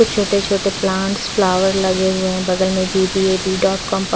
कुछ छोटे छोटे प्लांटस फ्लावर लगे हुए बगल में पि_पि_ए _पि डॉट कॉम --